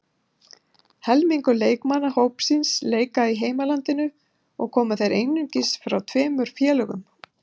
Helmingur leikmanna hópsins leika í heimalandinu og koma þeir einungis frá tveimur félögum.